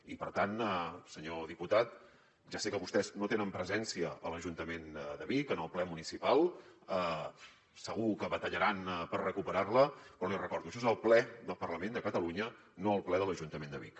i per tant senyor diputat ja sé que vostès no tenen presència a l’ajuntament de vic en el ple municipal segur que batallaran per recuperar la però l’hi recordo això és el ple del parlament de catalunya no el ple de l’ajuntament de vic